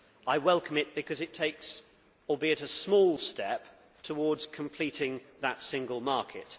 I welcome it because it takes an albeit small step towards completing that single market.